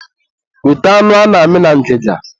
weta anụ ana-amị na ngịga.